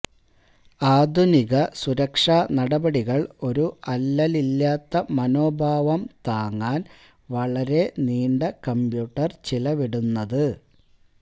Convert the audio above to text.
ആധുനിക സുരക്ഷാ നടപടികൾ ഒരു അല്ലലില്ലാത്ത മനോഭാവം താങ്ങാൻ വളരെ നീണ്ട കമ്പ്യൂട്ടർ ചിലവിടുന്നത്